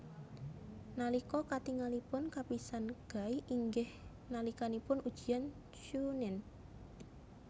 Nalika katingalipun kapisan Guy inggih nalikanipun ujian chuunin